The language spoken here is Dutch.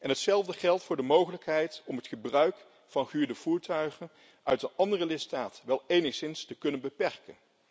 Hetzelfde geldt voor de mogelijkheid om het gebruik van gehuurde voertuigen uit een andere lidstaat wel enigszins te kunnen beperken.